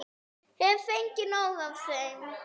Hef fengið nóg af þeim.